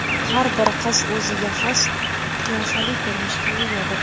Har bir qiz o‘ziga xos qiyofali ko‘rinishga egadir.